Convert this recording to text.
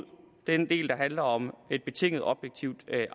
den del der handler om et betinget objektivt